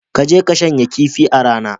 Ka je ka shanya kifi a rana.